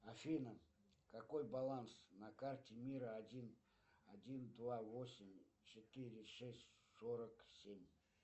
афина какой баланс на карте мира один один два восемь четыре шесть сорок семь